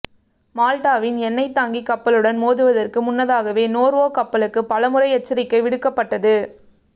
மால்டாவின் எண்ணெய் தாங்கி கப்பலுடன் மோதுவதற்கு முன்னதாக நோர்வே கப்பலுக்கு பலமுறை எச்சரிக்கை விடுக்கப